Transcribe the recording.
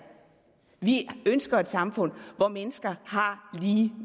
vi ønsker et samfund hvor mennesker har lige